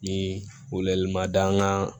Ni wele ma da an kan